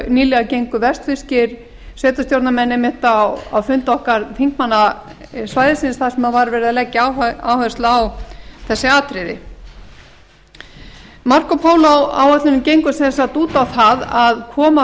nýlega gengu vestfirskir sveitarstjórnarmenn einmitt á fund okkar þingmanna svæðisins þar sem var verið að leggja áherslu á þessi atriði marco polo áætlunin gengur sem sagt út á það að koma